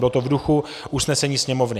Bylo to v duchu usnesení Sněmovny.